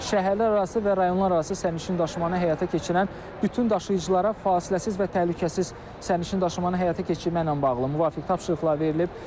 Şəhərlərarası və rayonlararası sərnişin daşımalarını həyata keçirən bütün daşıyıcılara fasiləsiz və təhlükəsiz sərnişin daşımalarını həyata keçirməklə bağlı müvafiq tapşırıqlar verilib.